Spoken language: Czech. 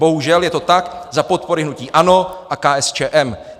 Bohužel, je to tak za podpory hnutí ANO a KSČM.